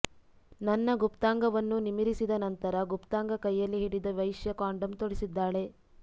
ನನ್ನ ಗುಪ್ತಾಂಗವನ್ನು ನಿಮಿರಿಸಿದ ನಂತರ ಗುಪ್ತಾಂಗ ಕೈಯಲ್ಲಿ ಹಿಡಿದ ವೈಶ್ಯ ಕಾಂಡೋಮ್ ತೊಡಿಸಿದ್ದಾಳೆ